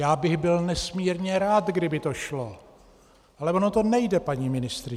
Já bych byl nesmírně rád, kdyby to šlo, ale ono to nejde, paní ministryně.